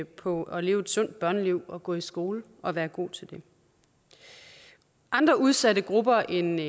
på at leve et sundt børneliv gå i skole og være god til det andre udsatte grupper end